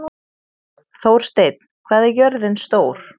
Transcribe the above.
Þórsteinn, hvað er jörðin stór?